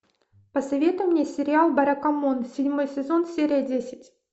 посоветуй мне сериал баракамон седьмой сезон серия десять